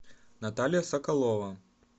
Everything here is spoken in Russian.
наталья соколова